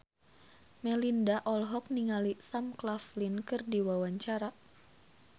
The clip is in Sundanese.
Melinda olohok ningali Sam Claflin keur diwawancara